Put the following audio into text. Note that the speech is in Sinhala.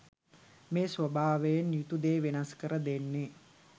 මේ ස්වභාවයෙන් යුතු දේ වෙනස් කර දෙන්නේ